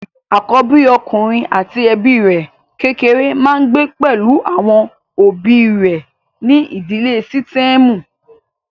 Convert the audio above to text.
Àkóbí ọkùnrin àti ẹbí rẹ̀ kékéré máa ń gbé pẹ̀lú àwọn òbí rẹ̀ nínú ìdílé sítẹ́ẹ̀mù.